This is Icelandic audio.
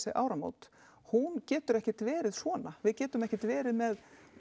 áramóta hún getur ekki verið svona við getum ekkert verið með